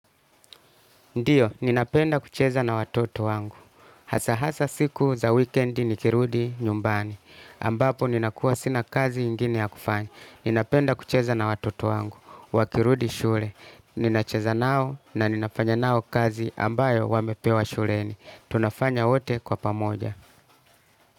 Ndiyo, ninapenda kucheza na watoto wangu. Hasa hasa siku za wikendi nikirudi nyumbani. Ambapo ninakuwa sina kazi ingine ya kufanya. Ninapenda kucheza na watoto wangu. Wakirudi shule. Ninacheza nao na ninafanya nao kazi ambayo wamepewa shuleni. Tunafanya wote kwa pamoja.